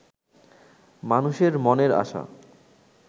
মানুষের মনের আশা